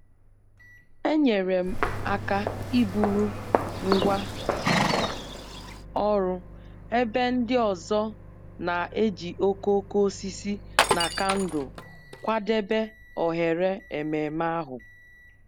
enyere m aka iburu ngwá ọrụ ebe ndị ọzọ na-eji okooko osisi na kandụl kwadebe oghere ememe ahụ